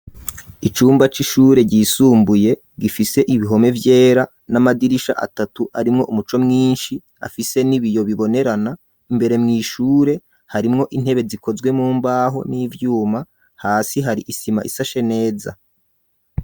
Icumba c'ishure, ryisumbuye, gifise ibihome vyera, n'amadirisha atatu, arimwo umuco mwinshi, afise n'ibiyo, bibonerana; imbere mw'ishure, harimwo intebe, zikozwe mu mbaho, n'ivyuma, hasi hari isima, isashe neza.